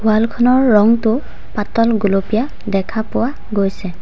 Wall খনৰ ৰঙটো পাতল গোলপীয়া দেখা পোৱা গৈছে।